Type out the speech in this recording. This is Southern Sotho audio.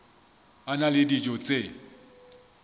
a na le dijo tse